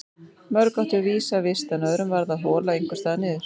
Mörg áttu vísa vist en öðrum varð að hola einhvers staðar niður.